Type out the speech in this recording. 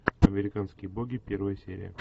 американские боги первая серия